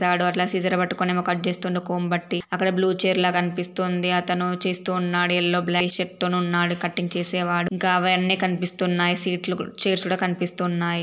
వాడు అట్లా సిజర్ పట్టుకొని ఏమో కట్ చేస్తుండు. కొంబట్టి. అక్కడ బ్లూ చైర్ లా గనిపిస్తుంది అతను చేస్తూ ఉన్నాడు. ఎల్లో బ్లై షప్ తోనున్నాడు కటింగ్ చేసే వాడు. ఇంకా అవన్ని కనిపిస్తునాయి. సీట్లు కు చైర్స్ కూడా కనిపిస్తూ ఉన్నాయి.